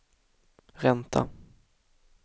ränta